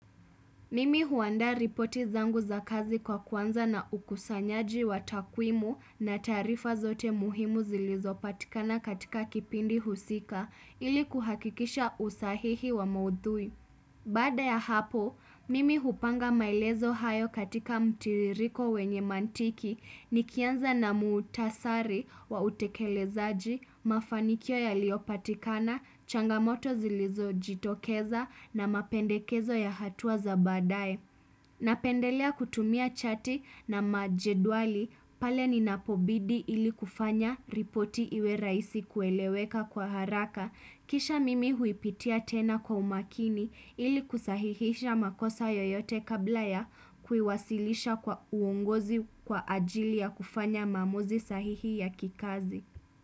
Mimi huandaa ripoti zangu za kazi kwa kuanza na ukusanyaji wa takwimu na taarifa zote muhimu zilizopatikana katika kipindi husika ili kuhakikisha usahihi wa maudhui. Baada ya hapo, mimi hupanga maelezo hayo katika mtiririko wenye mantiki nikianza na muhtasari wa utekelezaji, mafanikio yaliyopatikana, changamoto zilizojitokeza na mapendekezo ya hatua za baadaye. Napendelea kutumia chati na majedwali pale inapobidi ili kufanya ripoti iwe rahisi kueleweka kwa haraka kisha mimi huipitia tena kwa umakini ili kusahihisha makosa yoyote kabla ya kuiwasilisha kwa uongozi kwa ajili ya kufanya maamuzi sahihi ya kikazi.